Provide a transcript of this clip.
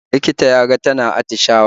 Likita ya ga tana atishawa